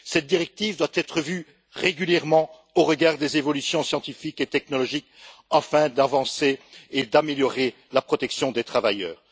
Cette directive doit être revue régulièrement, au regard des évolutions scientifiques et technologiques, afin d'avancer et d'améliorer la protection des travailleurs.